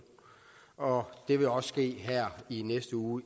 og det vil også ske her i næste uge